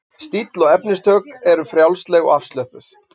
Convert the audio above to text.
Stíll og efnistök eru frjálsleg og afslöppuð.